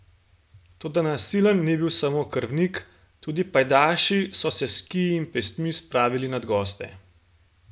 Toda nasilen ni bil samo krvnik, tudi pajdaši so se s kiji in pestmi spravili nad goste.